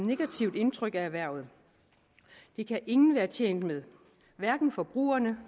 negativt indtryk af erhvervet og det kan ingen være tjent med hverken forbrugerne